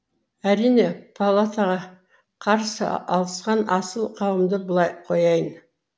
әрине палатаға қарсы алысқан асыл қауымды былай қояйын